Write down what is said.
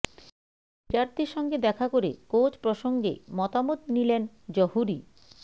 বিরাটদের সঙ্গে দেখা করে কোচ প্রসঙ্গে মতামত নিলেন জহুরি